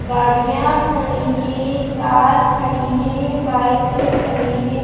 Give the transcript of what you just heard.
गाड़ियाँ खड़ी हैं कार खड़ी हैं बाइके खड़ी हैं।